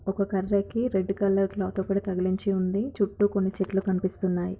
ఒక కర్రకి red colour cloth ఒకటి తగిలించి ఉంది. చుట్టూ కొన్ని చెట్లు కనిపిస్తున్నాయి.